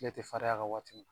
I ja te fariya ka waati